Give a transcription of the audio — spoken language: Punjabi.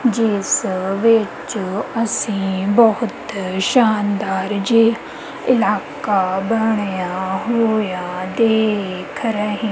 ਜਿਸ ਵਿੱਚ ਅਸੀਂ ਬਹੁਤ ਸ਼ਾਨਦਾਰ ਜੀ ਇਲਾਕਾ ਬਣਿਆ ਹੋਇਆ ਦੇਖ ਰਹੇ।